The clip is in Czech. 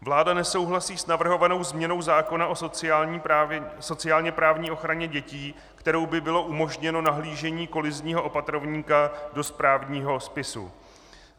Vláda nesouhlasí s navrhovanou změnou zákona o sociálně-právní ochraně dětí, kterou by bylo umožněno nahlížení kolizního opatrovníka do správního spisu.